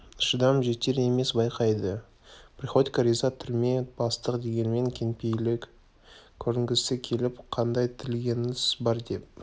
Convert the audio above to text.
шыдам жетер емес байқайды приходько риза түрме бастық дегенмен кеңпейіл көрінгісі келіп қандай тілегіңіз бар деп